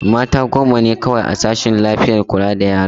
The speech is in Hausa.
Mata goma ne kawai a sashen kula da lafiyar yara.